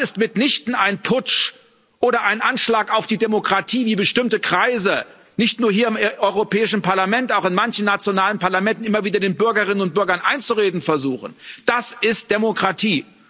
Das ist mitnichten ein Putsch oder ein Anschlag auf die Demokratie, wie bestimmte Kreise, nicht nur hier im Europäischen Parlament, auch in manchen nationalen Parlamenten, immer wieder den Bürgerinnen und Bürgern einzureden versuchen, das ist Demokratie.